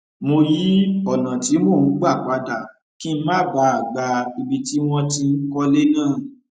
mo yí ònà tí mò ń gbà padà kí n má bàa gba ibi tí wọn ti n kọlé náà